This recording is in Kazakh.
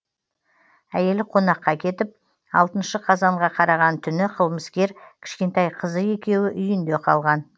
әйелі қонаққа кетіп алтыншы қазанға қараған түні қылмыскер кішкентай қызы екеуі үйінде қалған